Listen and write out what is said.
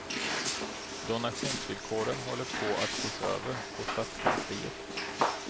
Donationsvillkoren håller på att ses över på stadskansliet.